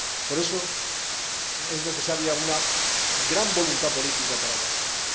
Por eso, es necesaria una gran voluntad política para abordarlo.